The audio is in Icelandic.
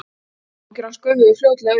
Áhyggjur hans gufuðu fljótlega upp.